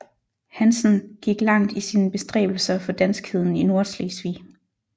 Hanssen gik langt i sine bestræbelser for danskheden i Nordslesvig